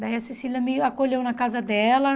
Daí a Cecília me acolheu na casa dela.